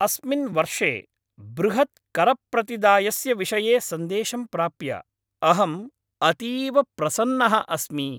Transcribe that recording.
अस्मिन् वर्षे बृहत् करप्रतिदायस्य विषये सन्देशं प्राप्य अहम् अतीव प्रसन्नः अस्मि।